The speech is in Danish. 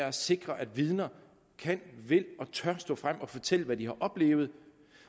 at sikre at vidner kan vil og tør stå frem og fortælle hvad de har oplevet